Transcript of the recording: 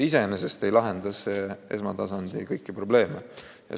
Iseenesest ei lahenda see kõiki esmatasandi probleeme.